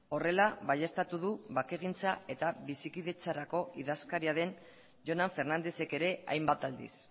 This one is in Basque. horrela baieztatu du bakegintza eta bizikidetzarako idazkaria den jonan fernandezek ere hainbat aldiz